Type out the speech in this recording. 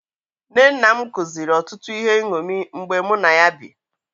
Nne nna m kụziri otụtụ ihe nṅomi mgbe mụ na ya bi.